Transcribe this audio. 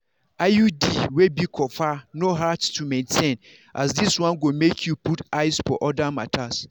iud wey be copper no hard to maintain as this one go make you put eyes for other matters.